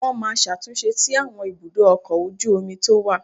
Wọ́n máa ṣàtúnṣe sí àwọn ibùdó ọkọ̀ ojú omi tó wà